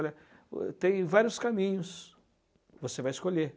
Olha, tem vários caminhos que você vai escolher.